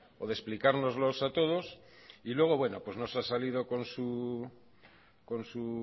o de explicárnoslo a todos y luego nos ha salido con su